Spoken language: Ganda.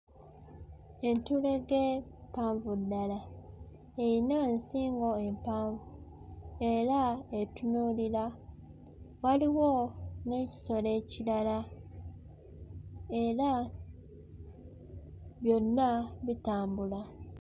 Entulege mpanvu ddala eyina nsingo empanvu era etunuulira waliwo n'ekisolo ekirala era byonna bitambula.